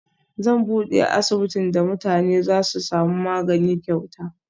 Zan bude asibitin da mutane Zasu samu magani kyauta